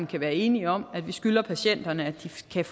kan være enige om at vi skylder patienterne at de kan